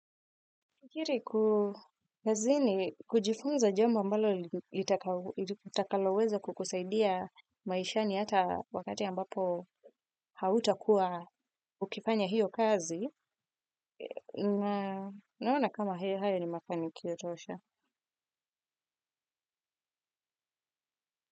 Kukiri kazini, kujifunza jambo ambalo litakaloweza kukusaidia maishani hata wakati ambapo hautakuwa ukifanya hiyo kazi, naona kama hiyo haya ni mafinikio tosha.